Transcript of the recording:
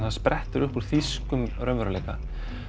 það sprettur upp úr þýskum raunveruleika